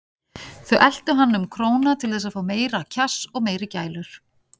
Þau eltu hann um króna til þess að fá meira kjass og meiri gælur.